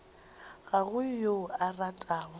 ga go yo a ratago